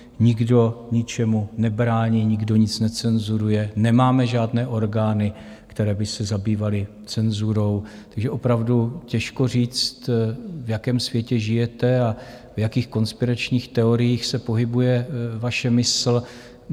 Nikdo ničemu nebrání, nikdo nic necenzuruje, nemáme žádné orgány, které by se zabývaly cenzurou, takže opravdu těžko říct, v jakém světě žijete a v jakých konspiračních teoriích se pohybuje vaše mysl.